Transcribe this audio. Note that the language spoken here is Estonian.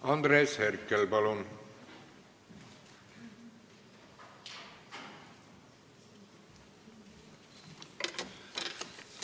Andres Herkel, palun!